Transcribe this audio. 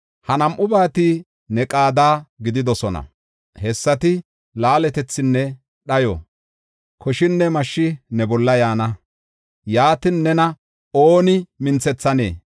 Ha nam7ubati ne qaada gididosona; hessati laaletethinne dhayo; koshinne mashshi ne bolla yaana; yaatin, nena ooni minthethanee?